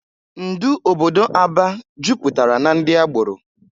Ndụ obodo Aba jupụtara na ndị agbọrọ.